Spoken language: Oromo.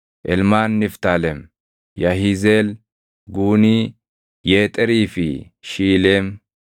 Ilmaan Niftaalem: Yahizeel, Guunii, Yeexerii fi Shiileem.